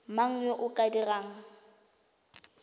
mang yo o ka dirang